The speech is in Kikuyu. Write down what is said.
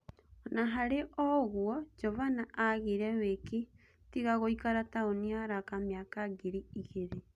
Ona-harĩ o-ũguo, Jovana agire-wĩki tiga gũikara taũni ya Raka mĩaka ingĩ ĩrĩ.